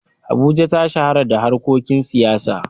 Abuja ta shahara da harkokin siyasa.